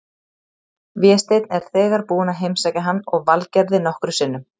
Vésteinn er þegar búinn að heimsækja hann og Valgerði nokkrum sinnum.